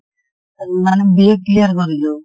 মানে BA clear কৰিলোঁ